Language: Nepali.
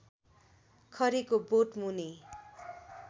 खरीको बोटमुनि